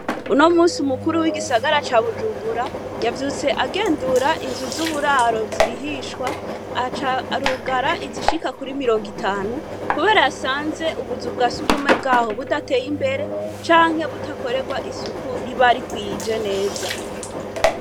Uno musi umukuru w'igisagara ca Bujumbura, yavyutse agendura inzu z'uburaro zirihishwa, aca arugara izishika kuri mirongo itanu, kubera yasanze ubuzu bwa surwumwe bwa ho budateye imbere, canke butakorerwa isuku riba rikwije neza.